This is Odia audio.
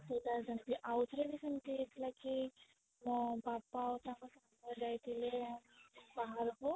ଏଇଟା ସେମିତି ଆଉ ଥରେ ବି ସେମିତି ହେଇଥିଲା କି ମୋ ବାବା ଆଉ ତାଙ୍କ ସାଙ୍ଗ ଯାଇଥିଲେ ବାହାରକୁ